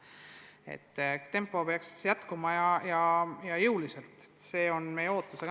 Tõstmise tempo peaks püsima, see on meie ootus.